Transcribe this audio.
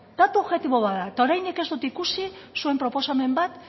datu objektibo bat da eta oraindik ez dut ikusi zuen proposamen bat